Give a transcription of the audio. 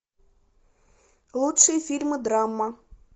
лучшие фильмы драма